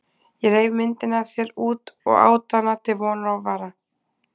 Ég reif myndina af þér út og át hana til vonar og vara.